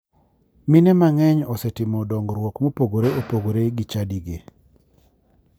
Mine mang'eny osetimo dongruok mopogore opogore gi chadigi